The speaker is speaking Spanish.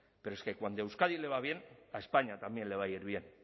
pero es que cuando a euskadi le va bien a españa también le va a ir bien